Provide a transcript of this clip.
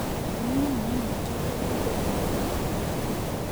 Kũnyua mae maĩngĩ kũrũngagĩrĩrĩa ngothĩ